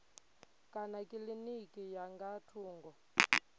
kana kilinikini ya nga thungo